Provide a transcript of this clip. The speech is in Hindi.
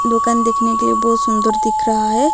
दुकान देखने के लिए बहुत सुंदर दिख रहा है।